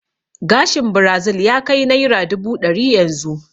Gashin birazil ya kai naira dubu ɗari yanzu